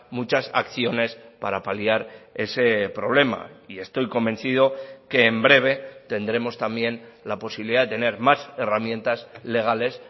muchas acciones para paliar ese problema y estoy convencido que en breve tendremos también la posibilidad de tener más herramientas legales